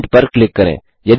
print पर click करें